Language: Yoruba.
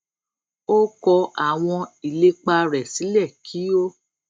ó kọ àwọn ìlépa rè sílè kí ó